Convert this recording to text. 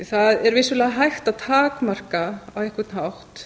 það er vissulega hægt að takmarka á einhvern hátt